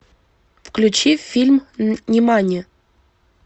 включи фильм нимани